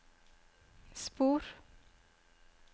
spor